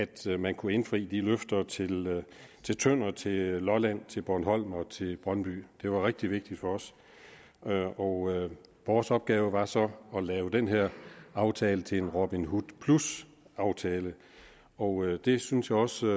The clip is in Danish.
det at man kunne indfri løfterne til til tønder til lolland til bornholm og til brøndby det var rigtig vigtigt for os og vores opgave var så at lave den her aftale til en robin hood plus aftale og det synes jeg også